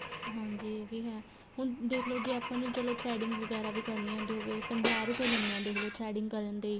ਹਾਂਜੀ ਇਹ ਵੀ ਹੈ ਹੁਣ ਦੇਖਲੋ ਜ਼ੇ ਆਪਾਂ ਨੂੰ ਚਲੋ threading ਵਗੈਰਾ ਵੀ ਕਰਨੀ ਆਂਦੀ ਹੋਵੇ ਪੰਜਾਹ ਰੁਪਏ ਲੈਣੇ ਹੈ ਦੇਖਲੋ threading ਕਰਨ ਦੇ